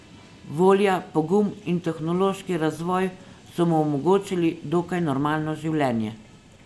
Volja, pogum in tehnološki razvoj so mu omogočili dokaj normalno življenje.